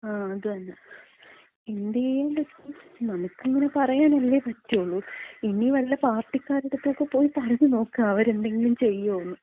ആ അതന്ന. എന്ത് ചെയ്യാൻ പറ്റും? നമുക്കിങ്ങനെ പറയാനല്ലേ പറ്റോളൂ. ഇനി വല്ല പാർട്ടിക്കാരുടെ അടുത്തെക്ക പോയി പറഞ്ഞുനോക്കാം, അവരെന്തെങ്കിലും ചെയ്യോന്ന്.